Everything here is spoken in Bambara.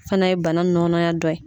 Fana ye bana nɔnaya dɔ ye.